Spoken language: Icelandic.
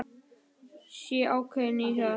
Sé ákveðin í því.